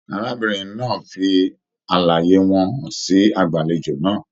Arábìnrin náà fí àlàyé wọn hàn sí agbalejo náà.